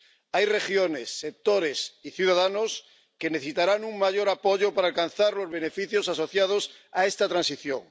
Hay regiones, sectores y ciudadanos que necesitarán un mayor apoyo para alcanzar los beneficios asociados a esta transición.